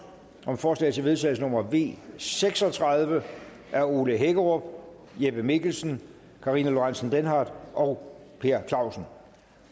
om forslag til vedtagelse nummer v seks og tredive af ole hækkerup jeppe mikkelsen karina lorentzen denhardt og per clausen